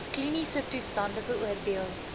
kliniese toestande beoordeel